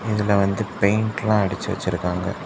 இதுல வந்து பெய்ன்ட்லா அடிச்சி வச்சிருக்காங்க.